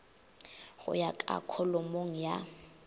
go ya ka kholomong ya